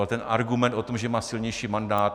A ten argument o tom, že má silnější mandát...